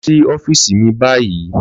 Lọ sí ọ́fíìsì mi báyìí